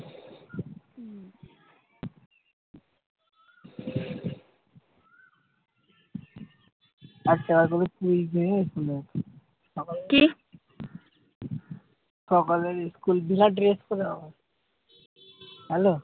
আচ্ছা তোদের school এ কে এসেছিলো? সকাল সকালে school বিরাট dress তোদের হবে। hello?